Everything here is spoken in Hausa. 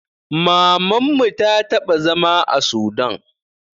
Mamanmu ta taɓa zama a sudan